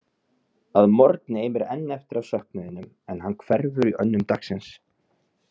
Að morgni eimir enn eftir af söknuðinum, en hann hverfur í önnum dagsins.